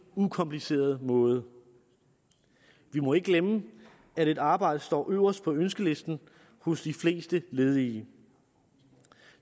ukomplicerede måde vi må ikke glemme at et arbejde står øverst på ønskelisten hos de fleste ledige